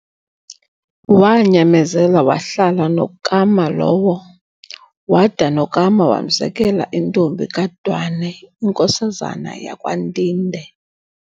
Waanyamezela wahlala noKama lowo, wada noKama wamzekela intombi kaDwane inkosazana yakwaNtinde.